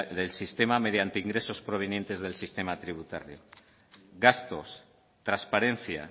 del sistema mediante ingresos provenientes del sistema tributario gastos transparencia